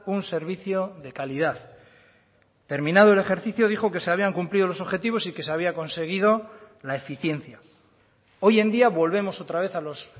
un servicio de calidad terminado el ejercicio dijo que se habían cumplido los objetivos y que se había conseguido la eficiencia hoy en día volvemos otra vez a los